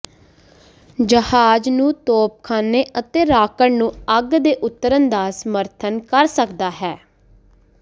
ਜਹਾਜ਼ ਨੂੰ ਤੋਪਖਾਨੇ ਅਤੇ ਰਾਕਟ ਨੂੰ ਅੱਗ ਦੇ ਉਤਰਨ ਦਾ ਸਮਰਥਨ ਕਰ ਸਕਦਾ ਹੈ